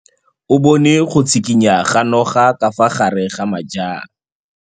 O bone go tshikinya ga noga ka fa gare ga majang.